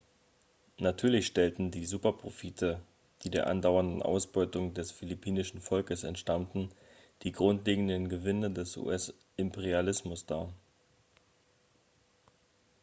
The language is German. natürlich stellten die superprofite die der andauernden ausbeutung des philippinischen volkes entstammten die grundlegenden gewinne des us-imperialismus dar